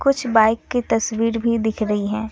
कुछ बाइक की तस्वीर भी दिख रही है।